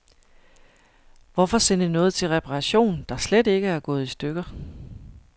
Hvorfor sende noget til reparation, der slet ikke er gået i stykker.